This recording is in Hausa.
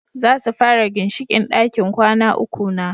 Zasu fara ginshiƙin ɗakin kwana uku na